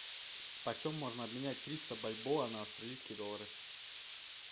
почем можно обменять триста бальбоа на австралийские доллары